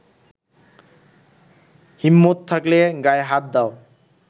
হিম্মত থাকলে গায়ে হাত দাও।